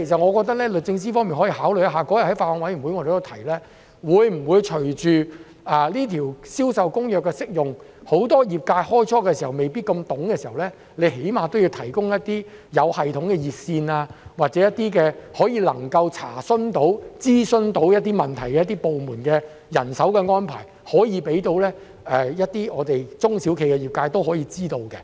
我覺得律政司方面可以特別考慮一下——當天我們在法案委員會會議上也提到——隨着《銷售公約》的實施，在很多業界一開始對《銷售公約》未必太熟悉時，政府會否最少提供一些有系統的熱線服務，或讓中小企及業界知道相關部門會作出人手安排，以供他們查詢及進行諮詢。